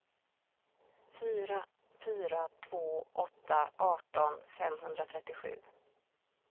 fyra fyra två åtta arton femhundratrettiosju